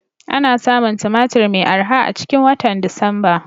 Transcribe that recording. Ana samun Tumatir mai arha a cikin watan Disamba.